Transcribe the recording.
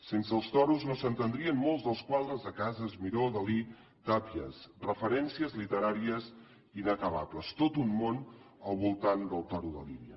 sense els toros no s’entendrien molts dels quadres de casas miró dalí tàpies referències literàries inacabables tot un món al voltant del toro de lídia